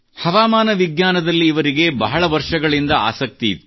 ಹವಾಮಾನ ವಿಜ್ಞಾನದಲ್ಲಿ ಇವರಿಗೆ ಬಹಳ ವರ್ಷಗಳಿಂದ ಆಸಕ್ತಿ ಇತ್ತು